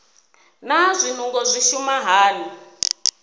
naa zwinungo zwi shuma hani